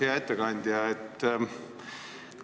Hea ettekandja!